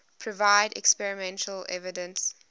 provide experimental evidence